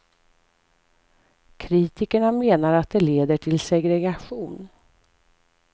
Kritikerna menar att det leder till segregation.